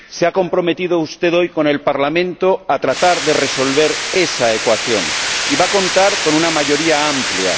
Se ha comprometido usted hoy con el Parlamento a tratar de resolver esa ecuación y va a contar con una mayoría amplia.